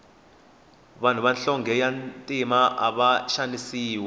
vanhu va nhlonge ya ntima ava xanisiwa